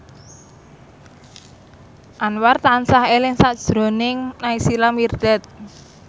Anwar tansah eling sakjroning Naysila Mirdad